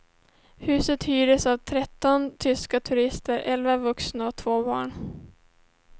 Huset hyrdes av tretton tyska turister, elva vuxna och två barn.